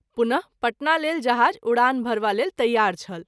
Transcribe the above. पुन: पटना लेल जहाज़ उड़ान भरबा लेल तैयार छल।